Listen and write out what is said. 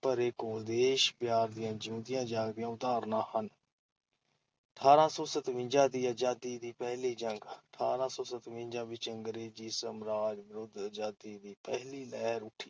ਭਰੇ ਘੋਲ ਦੇਸ਼- ਪਿਆਰ ਦੀਆਂ ਜਿਉਂਦੀਆਂ ਜਾਗਦੀਆਂ ਉਦਾਹਰਨਾਂ ਹਨ। ਅਠਾਰਾਂ ਸੌ ਸਤਵੰਜ਼ਾ ਦੀ ਅਜ਼ਾਦੀ ਦੀ ਪਹਿਲੀ ਜੰਗ-ਅਠਾਰਾਂ ਸੌ ਸਤਵੰਜ਼ਾ ਵਿੱਚ ਅੰਗਰੇਜ਼ੀ ਸਾਮਰਾਜ ਵਿਰੁੱਧ ਅਜ਼ਾਦੀ ਦੀ ਪਹਿਲੀ ਲਹਿਰਾਂ ਉੱਠੀ,